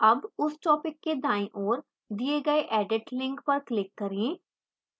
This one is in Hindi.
अब उस topic के दाईं ओर दिए गए edit link पर click करें